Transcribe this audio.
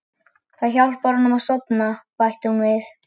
Það hjálpar okkur að sofna, bætti hún við.